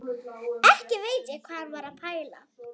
Ekki veit ég hvað hann var að pæla.